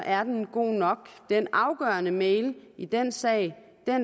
er den god nok den afgørende e mail i den sag